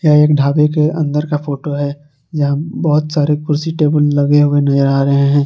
एक ढाबे के अंदर का फोटो है यहां बहोत सारे कुर्सी टेबल लगे हुए नजर आ रहे हैं।